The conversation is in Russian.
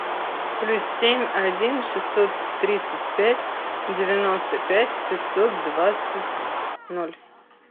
плюс семь один шестьсот тридцать пять девяносто пять пятьсот двадцать ноль